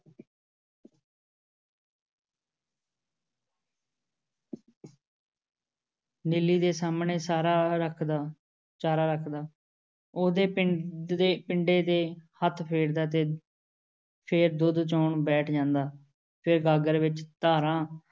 ਨੀਲੀ ਦੇ ਸਾਹਮਣੇ ਚਾਰਾ ਰੱਖਦਾ, ਚਾਰਾ ਰੱਖਦਾ, ਉਹਦੇ ਪਿੰਡ ਦੇ ਪਿੰਡੇ ਤੇ ਹੱਥ ਫੇਰਦਾ ਤੇ ਫੇਰ ਦੁੱਧ ਚੋਣ ਬੈਠ ਜਾਂਦਾ । ਫੇਰ ਗਾਗਰ ਵਿੱਚ ਧਾਰਾਂ